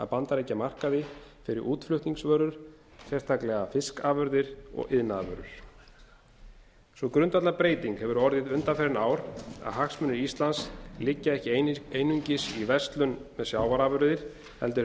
bandaríkjamarkaði fyrir útflutningsvörur sérstaklega fiskafurðir og iðnaðarvöru sú grundvallarbreyting hefur orðið undanfarin ár að hagsmunir íslands liggja ekki einungis í verslun með sjávarafurðir heldur hefur